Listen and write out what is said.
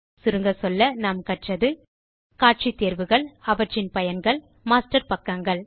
சுருங்கச்சொல்ல நாம் கற்றது காட்சி தேர்வுகள் அவற்றின் பயன்கள் மாஸ்டர் பக்கங்கள்